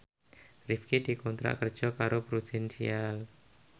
Rifqi dikontrak kerja karo Prudential